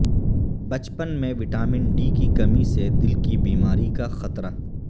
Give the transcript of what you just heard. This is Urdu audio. بچپن میں وٹامن ڈی کی کمی سے دل کی بیماری کا خطرہ